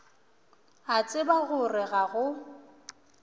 a tseba gore ga go